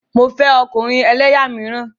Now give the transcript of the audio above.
Mo fẹ́ ọkùnrin ẹlẹ́yà míràn.